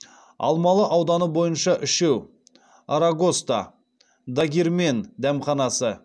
алмалы ауданы бойынша үшеу арагоста дагирмен дәмханасы